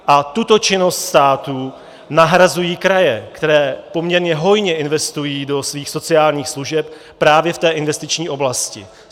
A tuto činnost státu nahrazují kraje, které poměrně hojně investují do svých sociálních služeb právě v té investiční oblasti.